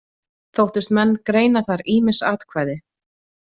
Þóttust menn greina þar ýmis atkvæði.